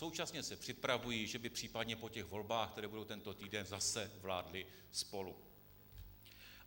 Současně se připravují, že by případně po těch volbách, které budou tento týden, zase vládly spolu.